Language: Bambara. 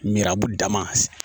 Mirabu dama